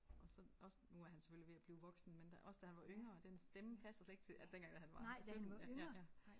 Og så også nu er han selvfølgelig ved at blive voksen men da også da han var yngre den stemme passer slet ikke til altså dengang han var 17 ja ja ja